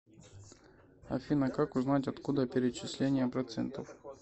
афина как узнать откуда перечисления процентов